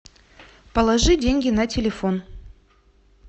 положи деньги на телефон